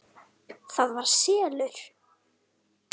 ÞAÐ VAR SELUR!